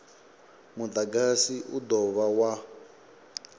mudagasi u do dovha wa